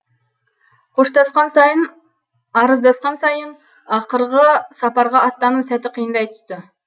қоштасқан сайын арыздасқан сайын ақырғы сапарға аттану сәті қиындай түсті